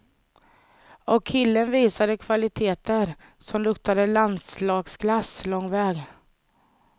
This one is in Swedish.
Och killen visade kvaliteter som luktar landslagsklass lång väg.